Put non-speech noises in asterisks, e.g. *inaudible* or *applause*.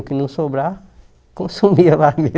O que não sobrava, consumia lá *laughs* mesmo